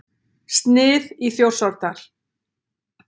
Snið í Þjórsárdal.